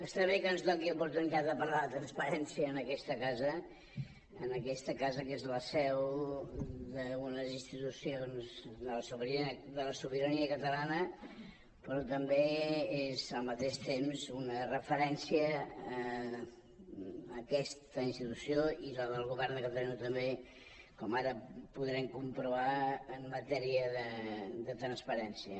està bé que ens doni oportunitat de parlar de transparència en aquesta casa en aquesta casa que és la seu d’una de les institucions de la sobirania catalana però també és al mateix temps una referència aquesta institució i la del govern de catalunya també com ara podrem comprovar en matèria de transparència